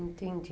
Entendi.